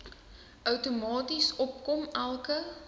outomaties opkom elke